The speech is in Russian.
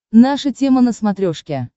наша тема на смотрешке